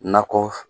Nakɔ